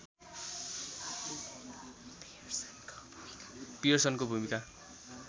पियर्सनको भूमिका